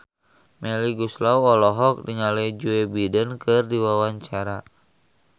Melly Goeslaw olohok ningali Joe Biden keur diwawancara